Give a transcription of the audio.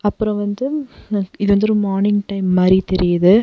அப்றோ வந்து இது வந்து ஒரு மார்னிங் டைம் மாரி தெரியிது.